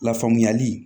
Lafaamuyali